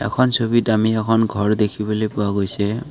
এখন ছবিত আমি এখন ঘৰ দেখিবলৈ পোৱা গৈছে।